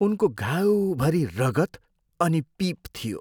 उनको घाउभरि रगत अनि पिप थियो।